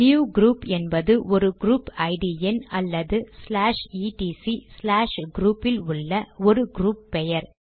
new group என்பது ஒரு group ID எண் அல்லது ச்லாஷ் இடிசி ச்லாஷ் க்ரூப் இல் உள்ள ஒரு க்ரூப் பெயர்